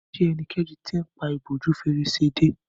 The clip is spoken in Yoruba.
ṣe ẹnikẹni t'in pá ìbòjú Fèrèsé dé